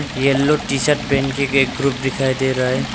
Yellow T shirt पहनके एक group दिखाई दे रहा है।